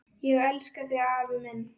Ég elska þig, afi minn!